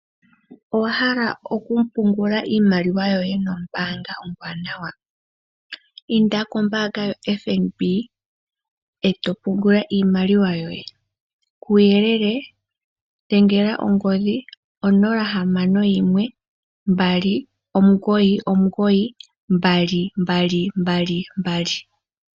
Owa hala okupungula iimaliwa yoye nombaanga ombwanawa. Inda kombaanga yoFNB eto pungula iimaliwa yoye. Kuuyelele dhengela ongodhi onola ohamano noyimwe ombali omugoyi omugoyi ombali ombali ombali nombali.